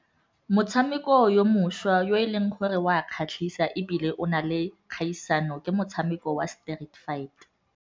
Motshameko yo mošwa yo e leng gore o a kgatlhisa ebile o na le kgaisano, ke motshameko wa Street Fight.